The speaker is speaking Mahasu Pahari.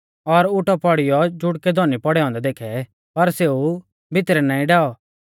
और उटौ पौड़ीयौ जुड़कै धौनी पौड़ै औन्दै देखै पर सेऊ भितरै नाईं डैऔ